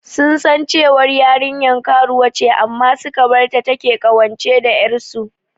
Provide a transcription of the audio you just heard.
Sun san cewar yarinyar karuwa ce amma suka barta take ƙawance da ƴarsu.